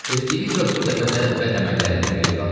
Eftibi də bu dəfə də bəd əməllərindən geri qalmadı.